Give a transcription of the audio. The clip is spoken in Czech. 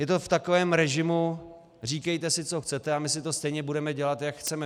Je to v takovém režimu "říkejte si, co chcete, a my si to stejně budeme dělat, jak chceme".